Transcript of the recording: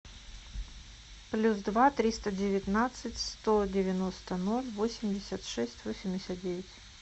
плюс два триста девятнадцать сто девяносто ноль восемьдесят шесть восемьдесят девять